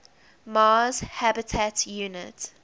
mars habitat unit